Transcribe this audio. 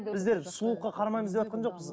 біздер сұлулыққа қарамаймыз деватқан жоқпыз